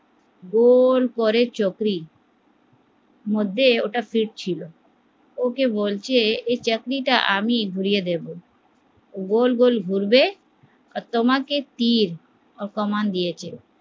গোল করে চোখড়ির মধ্যে ওটা ঠিক ছিল ওকে বলছে আমি ঘুরিয়ে দেব, ওটা গোল গোল ঘুরবে, তোমাকে তীর কামান দিয়েছে